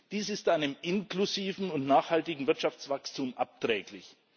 Dies ist einem inklusiven und nachhaltigen Wirtschaftswachstum abträglich.